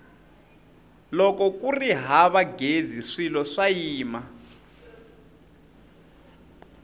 loko kuri hava ghezi swilo swa yima